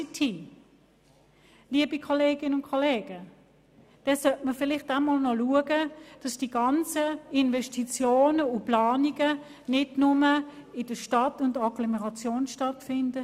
Liebe Kolleginnen und Kollegen, vielleicht sollte man noch dafür sorgen, dass die ganzen Investitionen und Planungen nicht nur in der Stadt und den Agglomerationen erfolgen.